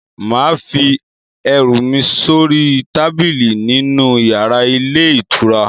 Mà á fi ẹrú mí sori tábìlì nínu yàrá ilé ìtura?